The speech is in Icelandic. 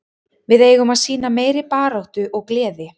Við eigum að sýna meiri baráttu og gleði.